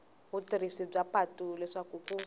vatirhisi va patu leswaku ku